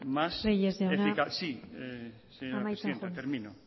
más eficaz reyes jauna amaitzen joan sí señora presidenta termino